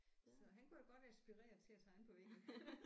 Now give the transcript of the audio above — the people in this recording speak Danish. Så han kunne da godt være inspireret til at tegne på væggene